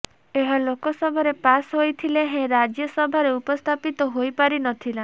ଏହା ଲୋକସଭାରେ ପାସ୍ ହୋଇଥିଲେ ହେଁ ରାଜ୍ୟସଭାରେ ଉପସ୍ଥାପିତ ହୋଇ ପାରି ନଥିଲା